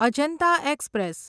Ajanta express